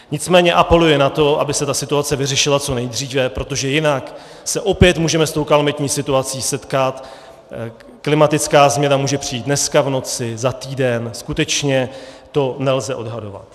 Nicméně apeluji na to, aby se ta situace vyřešila co nejdříve, protože jinak se opět můžeme s tou kalamitní situací setkat, klimatická změna může přijít dneska v noci, za týden, skutečně to nelze odhadovat.